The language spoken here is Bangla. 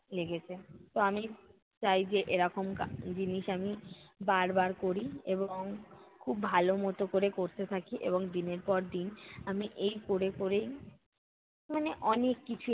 লেগেছে। তো আমি চাই যে এরকম কা~ জিনিস আমি বার বার করি এবং খুব ভালো মতো কোরে করতে থাকি এবং দিনের পর দিন আমি এই করে করেই মানে অনেক কিছুই